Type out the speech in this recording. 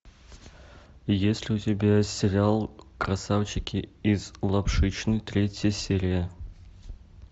есть ли у тебя сериал красавчики из лапшичной третья серия